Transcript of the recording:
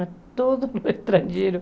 A todos os estrangeiros.